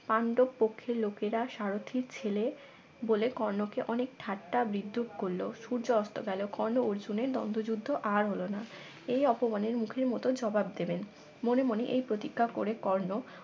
পাণ্ডব পক্ষের লোকেরা সারথীর ছেলে বলে কর্ণকে অনেক ঠাট্টা বিদ্রুপ করলো সূর্য অস্ত গেল কর্ণ অর্জুনের দ্বন্দ্ব যুদ্ধ আর হলো না এই অপমানের মুখের মত জবাব দেবে মনে মনে এই প্রতিজ্ঞা করে কর্ণ